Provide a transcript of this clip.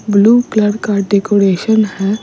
blue colour का decoration है --